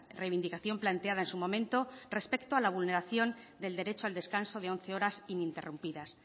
reivindicación planteada en su momento respecto a la vulneración del derecho al descanso de once horas ininterrumpidas